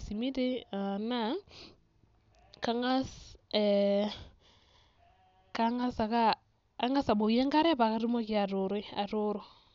esimiti naa kang'as ake ee ang'as abukoki enkare pee atumoki atooroi, atooro.